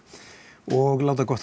og láta gott